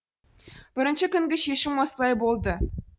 бірінші күнгі шешім осылай болды